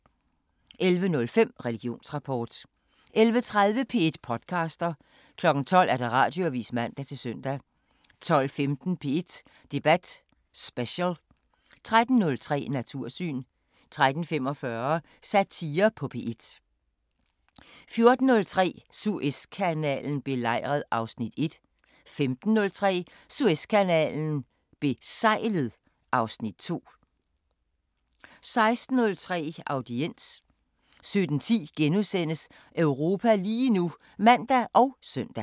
11:05: Religionsrapport 11:30: P1 podcaster 12:00: Radioavisen (man-søn) 12:15: P1 Debat Special 13:03: Natursyn 13:45: Satire på P1 14:03: Suezkanalen belejret (Afs. 1) 15:03: Suezkanalen besejlet (Afs. 2) 16:03: Audiens 17:10: Europa lige nu *(man og søn)